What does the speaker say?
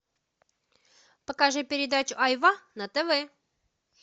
покажи передачу айва на тв